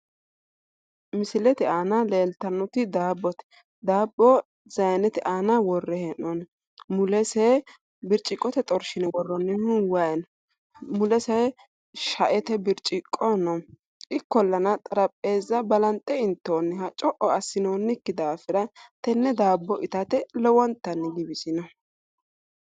Misilete aana leeltannoti daabbote. Daabbo sayinete aana worre hee'noonni. Mulese birciqqote xorshine worroonnihu wayi no. Mulese shaete birciqqo no. Ikkollana xarapheezza balanxe intoonniha co'o assinoonnikki daafira tenne daabbo itante lowontanni giwisino.